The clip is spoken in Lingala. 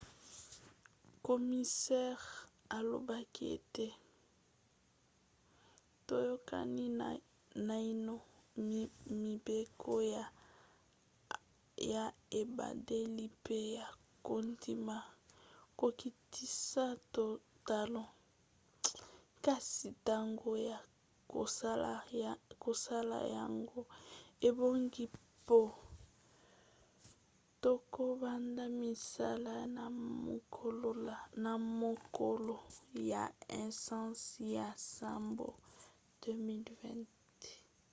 komisere alobaki ete toyokani naino mibeko ya ebandeli pe ya kondima kokitisa talo kasi ntango ya kosala yango ebongi mpo tokobanda misala na mokolo ya 1 sanza ya nsambo 2020